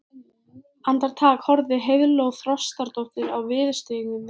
Andartak horfði Heiðló Þrastardóttir á viðurstyggðina